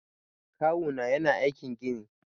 Kawuna yana aikin gini.